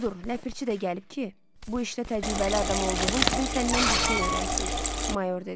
Budur, ləpirçi də gəlib ki, bu işdə təcrübəli adam olduğun üçün səndən bir şey öyrənsin, mayor dedi.